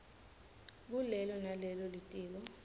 kulelo nalelo litiko